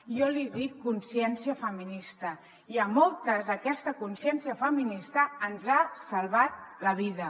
jo en dic consciència feminista i a moltes aquesta consciència feminista ens ha salvat la vida